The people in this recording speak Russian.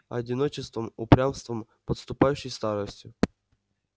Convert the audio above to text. одиночеством упрямством подступающей старостью